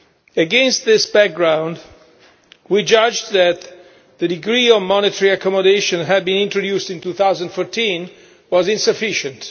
Against this background, we judged that the degree of monetary accommodation that had been introduced in 2014 was insufficient.